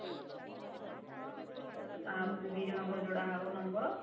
ତାପରେ ଦି ଜଣ ଙ୍କର ଯୋଡ଼ା ହବ number